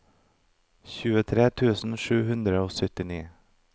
tjuetre tusen sju hundre og syttini